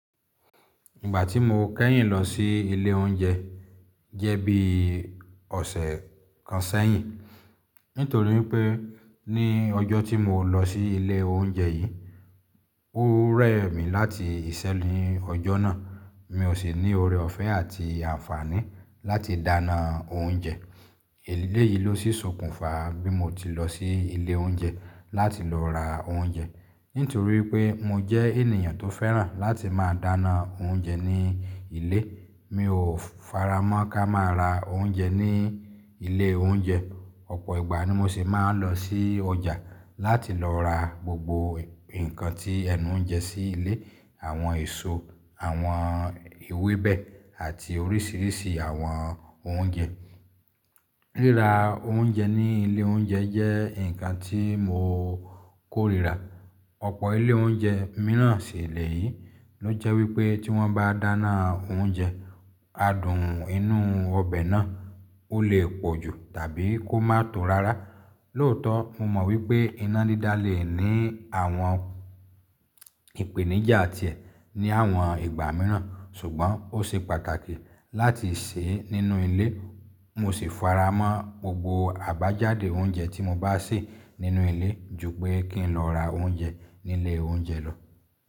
Ìgbà tí mo kẹ́yìn lọ sí ilé oúnjẹ jẹ́ bí ọ̀sẹ̀ kan sẹ́yìn. Nítorí pé ní ọjọ́ tí mo lọ sí ilé oúnjẹ yìí, ó rẹ̀ mí láti ìṣẹ́ ní ọjọ́ náà. Mi ò sì ní ore ọ̀fẹ́ àti àǹfààní láti dáná oúnjẹ. Eléyìí ló sí ṣokùnfà bí mo ti lọ sí ilé oúnjẹ láti lọ ra oúnjẹ. Nítorí pé mo jẹ́ ènìyàn tó fẹ́ràn láti máa dáná oúnjẹ ní ilé, mi ò faramọ́ ká máa ra oúnjẹ ní ilé oúnjẹ. Ọ̀pọ̀ ìgbà ni mo sì máa ń lọ sí ọjà láti lọ ra gbogbo nǹkan tí ẹnu ń jẹ sí ilé, àwọn èso, àwọn ewébẹ̀ àti oríṣiríṣi àwọn oúnjẹ. Ríra oúnjẹ ní ilé oúnjẹ jẹ́ nǹkan tí mo kórìíra. Ọ̀pọ̀ ilé oúnjẹ mìíràn sì le yìí ló jẹ́ wípé tí wọ́n bá dáná oúnjẹ, adùn inú ọbẹ̀ náà ó lè pọ̀ jù tàbí kó má tọ̀ rárá. Lóòótọ́ mo mọ̀ wípé iná dídá lè ní àwọn ìpèníjà tiẹ̀ ní àwọn ìgbà mìíràn, ṣùgbọ́n ó ṣe pàtàkì láti sè é nínú ilé. Mo sì faramọ́ gbogbo àbájáde oúnjẹ tí mo bá sè nínú ilé ju pé kí n lọ ra oúnjẹ ní ilé oúnjẹ lọ.